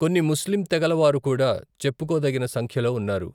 కొన్ని ముస్లిం తెగల వారు కూడా చెప్పుకోదగిన సంఖ్యలో ఉన్నారు.